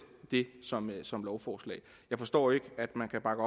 det som lovforslag jeg forstår ikke at man kan bakke